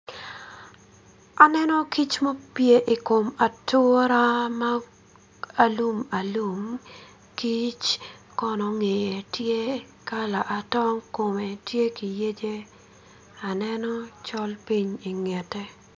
Aneno kic ma opye ikom atura ma alum alum kic kono ngeye tye kala atong kome tye kiyece aneno col piny ingete